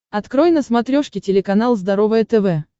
открой на смотрешке телеканал здоровое тв